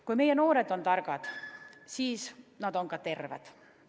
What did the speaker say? Kui meie noored on targad, siis on nad ka terved.